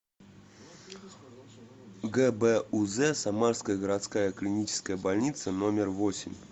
гбуз самарская городская клиническая больница номер восемь